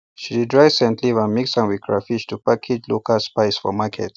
she dey dry scent leaf and mix am with crahfish to package local spice for market